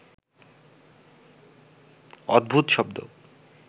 অদ্ভুত শব্দ